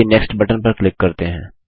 next button पर click करते हैं